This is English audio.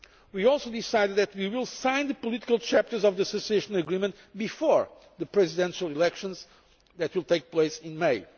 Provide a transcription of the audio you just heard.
week, we also decided that we will sign the political chapters of the Association Agreement before the Presidential elections that will take place in